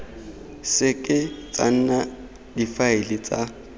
seke tsa nna difaele tsa